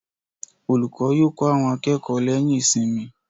Olùkọ́ yóò kọ́ àwọn akẹ́kọ̀ọ́ lẹ́yìn ìsinmi.